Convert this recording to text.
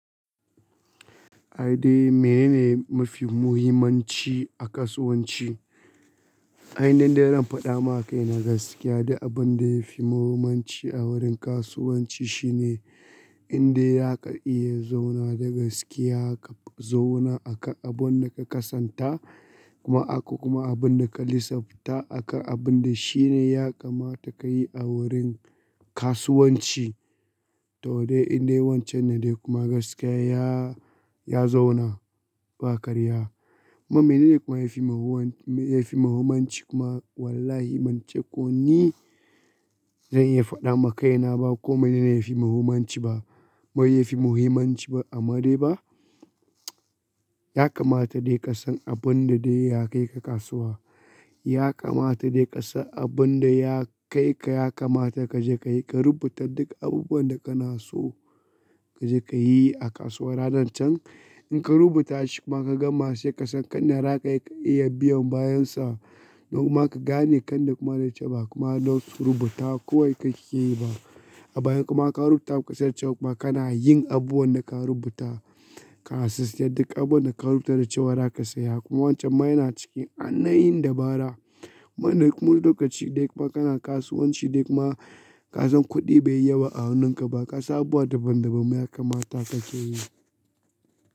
A dai mene ne mafi muhimmanci a kasuwanci? Aini in da zan faɗa ma kai na gaskiya duk abin da yafi muhimmanci a wurin kasuwanci shine inda za ka iya zauna da gaskiya, ka zauna akan abun da ka kasanta kuma akwai kuma abun da ka lissafta akan abin da shine ya kamata ka yi a wurin kasuwanci. To dai inda wancan ne dai kuma gaskiya ya, ya zauna ba karya. Mene ne kuma yafi muhimmanci, yafi muhimmanci kuma wallahi ban ce ko ni zan iya faɗa ma kaina ba ko mene ne yafi muhimmanci ba. Mai yafi muhimmanci ba, amma dai ba. Ya kamata dai ka san abun da dai ya kai ka kasuwa. Ya kamata dai ka san abun da ya kai ka, ya kamata ka je ka yi, ka rubuta duk abubuwan da kana so kaje ka yi a kasuwa ranar can. In ka rubuta shi kuma ka gama sai ka san kana raka ya iya biyan bayan sa. Kuma ka gane kanda kuma dai ce ba kuma nau'in rubuta kawai ka ke yi ba. A baya kuma ka rubuta, ba ka san cewa kuma kana yin abubuwan da ka rubuta. Ka assist duk abun da ka rubuta da ce za ka saya. Kuma wancan ma yana cikin ainahin dabara. Kai ne kuma lokaci ɗaya kuma kana kasuwanci dai kuma ka san kuɗi bai yi yawa a hannunka ba ka san abubuwa daban-daban ma ya kamata ka ke yi.